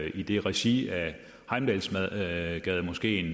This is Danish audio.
i regi af heimdalsgademoskeen